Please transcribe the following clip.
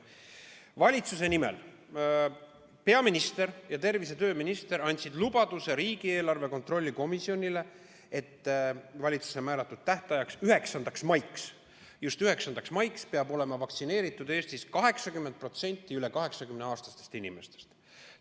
Valitsuse nimel andsid peaminister ja tervise- ja tööminister riigieelarve kontrolli erikomisjonile lubaduse, et valitsuse määratud tähtajaks, 9. maiks – just 9. maiks – peab olema vaktsineeritud Eestis 80% üle 80-aastastest inimestest.